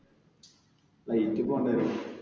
flight ൽ പോകേണ്ടി വരും.